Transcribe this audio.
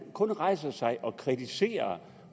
kun rejser sig og kritiserer